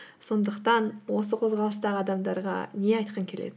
сондықтан осы қозғалыстағы адамдарға не айтқың келеді